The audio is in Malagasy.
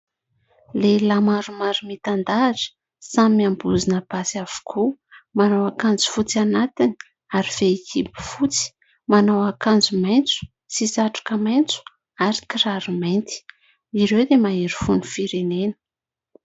Lehilahy maromaro mitan-dahatra, samy miambozona basy avokoa. Manao akanjo fotsy anatiny ary fehikibo fotsy. Manao akanjo maitso sy satroka maitso ary kiraro mainty. Ireo dia mahery fon'ny firenena.